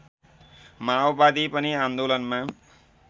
माओवादी पनि आन्दोलनमा